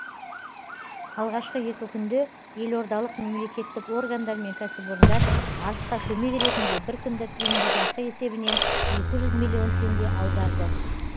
алғашқы екі күнде елордалық мемлекеттік органдар мен кәсіпорындар арысқа көмек ретінде бір күндік еңбекақы есебінен екі жүз миллион теңге аударды